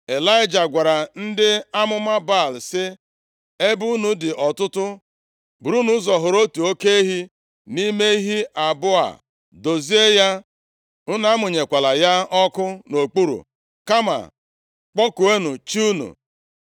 Ịlaịja gwara ndị amụma Baal, sị, “Ebe unu dị ọtụtụ, burunu ụzọ họrọ otu oke ehi nʼime ehi abụọ a dozie ya. Unu amụnyekwala ya ọkụ nʼokpuru, kama kpọkuonụ chi unu.”